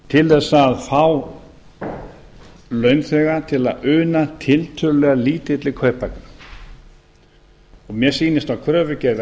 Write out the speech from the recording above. til þess að fá launþega til að una til tiltölulega lítilli kauphækkun mér sýnist á kröfugerð